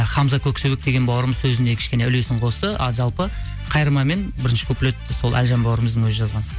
хамза көксебек деген бауырымыз сөзіне кішкене үлесін қосты а жалпы қайырма мен бірінші куплетті сол әлжан бауырымыздың өзі жазған